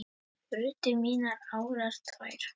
brutu mínar árar tvær